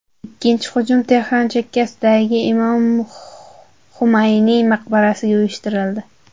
Ikkinchi hujum Tehron chekkasidagi Imom Xumayniy maqbarasiga uyushtirildi.